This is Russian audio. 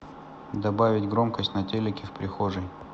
добавить громкость на телике в прихожей